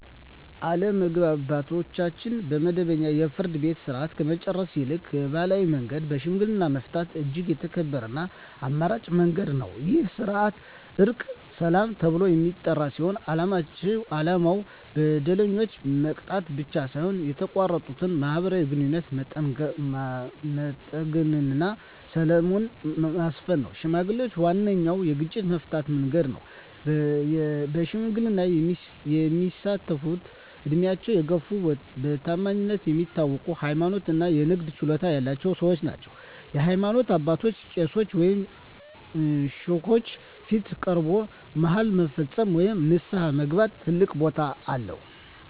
አለመግባባቶችን በመደበኛው የፍርድ ቤት ሥርዓት ከመጨረስ ይልቅ በባሕላዊ መንገድ በሽምግልና መፍታት እጅግ የተከበረና ተመራጭ መንገድ ነው። ይህ ሥርዓት "ዕርቀ ሰላም" ተብሎ የሚጠራ ሲሆን፣ ዓላማው በደለኛውን መቅጣት ብቻ ሳይሆን የተቋረጠውን ማኅበራዊ ግንኙነት መጠገንና ሰላምን ማስፈን ነው። ሽምግልና ዋነኛው የግጭት መፍቻ መንገድ ነው። በሽምግልና የሚሳተፍትም ዕድሜያቸው የገፋ፣ በታማኝነታቸው የሚታወቁ፣ ሃይማኖተኛ እና የንግግር ችሎታ ያላቸው ሰዎች ናቸው። በሃይማኖት አባቶች (ቄሶች ወይም ሼኮች) ፊት ቀርቦ መሃላ መፈጸም ወይም ንስሐ መግባት ትልቅ ቦታ አለው።